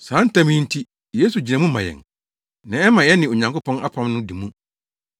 Saa ntam yi nti, Yesu gyina mu ma yɛn, na ɛma yɛne Onyankopɔn apam no di mu.